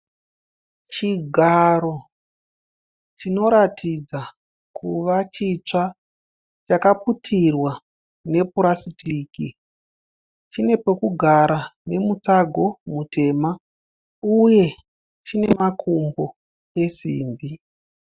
Chigaro chinoratidza kuva chitsva. Chakaputirwa nepurasitiki chine pokugara nemutsago mutema uye chine makumbo esimbi.